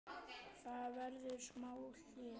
Það verður smá hlé.